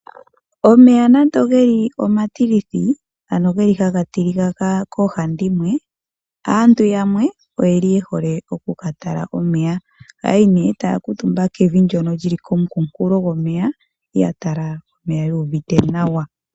Omeya nando geli omatilithi, ano geli haga tilika koohandimwe aantu yamwe oyeli yehole oku ka tala omeya. Ohaya yi nee, etaya kuutumba kevi ndyono lyili komukunkulo gwomeya, ya tala omeya yuuvite nawa.